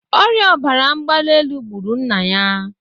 Ọrịa obara ngbali elu gbụrụ nna ya